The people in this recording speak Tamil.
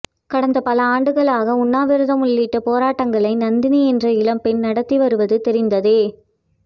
கடந்த பல ஆண்டுகளாக உண்ணாவிரதம் உள்ளிட்ட போராட்டங்களை நந்தினி என்ற இளம்பெண் நடத்தி வருவது தெரிந்ததே